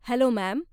Hello ma'am.